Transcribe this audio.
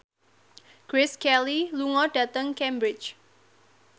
Grace Kelly lunga dhateng Cambridge